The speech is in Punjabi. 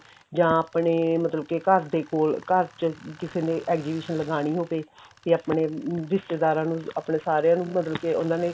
ਜਾਂ ਆਪਣੇ ਮਤਲਬ ਕੇ ਆਪਣਾ ਘਰ ਦੇ ਕੋਲ ਘਰ ਚ ਕਿਸੇ ਨੇ exhibition ਲਗਾਣੀ ਹੋਵੇ ਜਾਂ ਆਪਣੇ ਰਿਸ਼ਤੇਦਾਰਾਂ ਨੂੰ ਆਪਣੇ ਸਾਰੀਆਂ ਨੂੰ ਮਤਲਬ ਕਿ ਉਹਨਾ ਨੇ